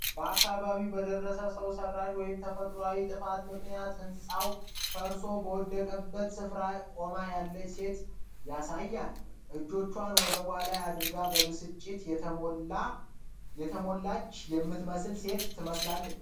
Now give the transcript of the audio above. በአካባቢው በደረሰው ሰው ሰራሽ ወይም ተፈጥሮአዊ ጥፋት ምክንያት ህንጻዎች ፈርሰው በወደቁበት ስፍራ ቆማ ያለች ሴት ያሳያል። እጆቿን ወገቧ ላይ አድርጋ፣ በብስጭት የተሞላች ትመስላለች።